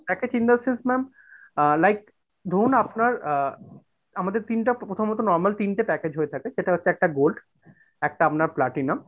package in that sense ma'am uh like ধরুন আপনার uh আমাদের তিনটা প্রথমত normal তিনটা package হয়ে থাকে সেটা হচ্ছে একটা gold, একটা আপনার platinum,